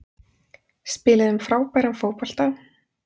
Spiluðum frábæran fótbolta